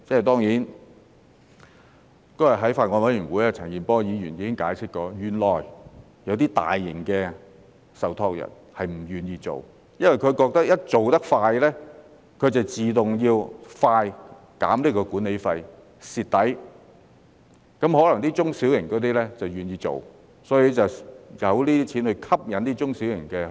當然，那天在法案委員會，陳健波議員已解釋，原來有些大型受託人並不願意這樣做，因為他們覺得一旦做得快，便要自動快一點減低管理費，會"蝕底"；至於中小型受託人則可能願意去做，所以便有這些錢來吸引中小型受託人先行去做。